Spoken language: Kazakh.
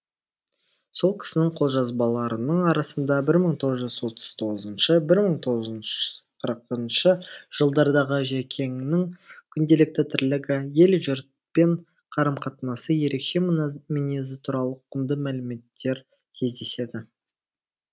сол кісінің қолжазбаларының арасында бір мың тоғыз жүз отыз тоғызыншы бір мың тоғыз жүз қырқыншы жылдардағы жәкеңнің күнделікті тірлігі ел жұртпен қарым қатынасы ерекше мінезі туралы құнды мәліметтер кездеседі